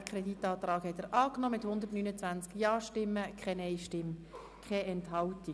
Sie haben auch diesen Antrag angenommen mit 129 Ja-Stimmen, keiner Nein-Stimme und keiner Enthaltung.